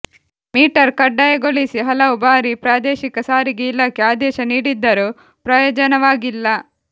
metre ಕಡ್ಡಾಯಗೊಳಿಸಿ ಹಲವು ಬಾರಿ ಪ್ರಾದೇಶಿಕ ಸಾರಿಗೆ ಇಲಾಖೆ ಆದೇಶ ನೀಡಿದ್ದರೂ ಪ್ರಯೋಜನವಾಗಿಲ್ಲ